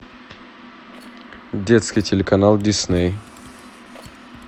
детский телеканал дисней